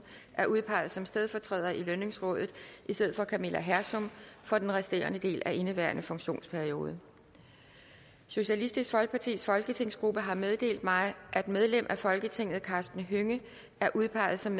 er udpeget som stedfortræder i lønningsrådet i stedet for camilla hersom for den resterende del af indeværende funktionsperiode socialistisk folkepartis folketingsgruppe har meddelt mig at medlem af folketinget karsten hønge er udpeget som